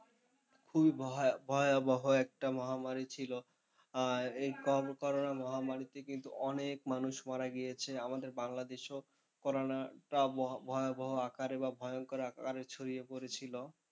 খুবই ভয়াবহ একটা মহামারী ছিল। আর এই করোনা মহামারীতে কিন্তু অনেক মানুষ মারা গিয়েছে আমাদের বাংলাদেশেও করোনাটা ভয়াবহ আকারে বা ভয়ংকর আকারে ছড়িয়ে পড়েছিল।